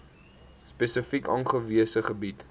spesifiek aangewese gebiede